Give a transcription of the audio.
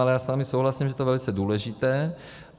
Ale já s vámi souhlasím, že je to velice důležité.